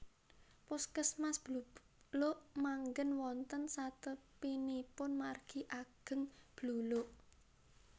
Puskesmas Bluluk manggen wonten satepinipun margi ageng Bluluk